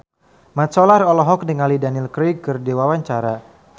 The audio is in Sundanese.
Mat Solar olohok ningali Daniel Craig keur diwawancara